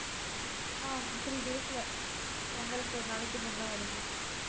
ஆஹ் three days ல பொங்கலுக்கு ஒரு நாளைக்கு முன்ன வருது